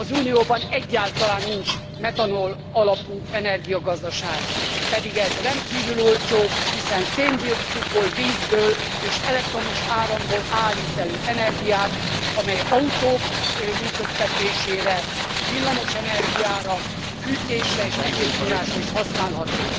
Az Unióban egyáltalán nincs metanol alapú energiagazdaság, pedig ez rendkívül olcsó, hiszen szén dioxidból, vízből és elektromos áramból állít elő energiát, amely autók működtetésére, villamos energiára, fűtésre és egyéb forrásra is használható.